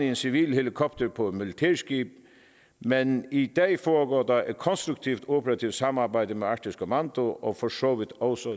en civil helikopter på et militærskib men i dag foregår der et konstruktivt operativt samarbejde med arktisk kommando og for så vidt også